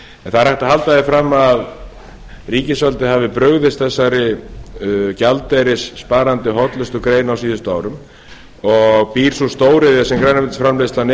en það er hægt að halda því fram að ríkisvaldið hafi brugðist þessari gjaldeyrissparandi hollustugrein á síðustu árum og býr sú stóriðja sem grænmetisframleiðslan